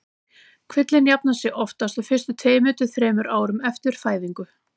Kvillinn jafnar sig oftast á fyrstu tveimur til þremur árum eftir fæðingu.